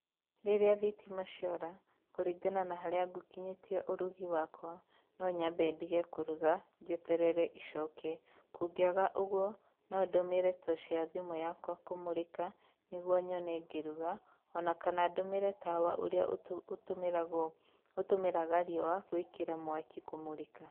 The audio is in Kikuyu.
Rĩrĩa thitima ciora kũringana na harĩa ngũkinyĩtie ũrugi wakwa, no nyambe ndige kũruga njeterere icoke. Kũngĩaga ũguo, no ndũmĩre toci ya thimũ yakwa kũmũrĩka nĩguo nyone ngĩruga o na kana ndũmĩre tawa ũrĩa ũtũ ũtũmĩragwo ũtũmĩraga riũa gwĩkĩra mwaki kũmũrĩka.